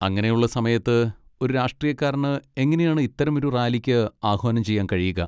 അങ്ങനെയുള്ള സമയത്ത് ഒരു രാഷ്ട്രീയക്കാരന് എങ്ങനെയാണ് ഇത്തരമൊരു റാലിക്ക് ആഹ്വാനം ചെയ്യാൻ കഴിയുക?